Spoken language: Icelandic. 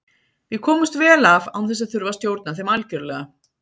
við komumst vel af án þess að þurfa að stjórna þeim algjörlega